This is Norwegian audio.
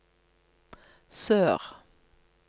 sør